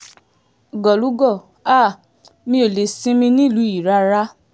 gólùgò háà mi ò lè sinmi nílùú yìí rárá